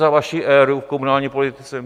Za vaší éry v komunální politice?